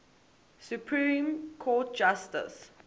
supreme court justice